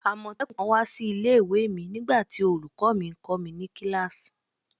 Amotekun kan wa si ile-iwe mi nigbati olukọ mi nkọ ni kilasi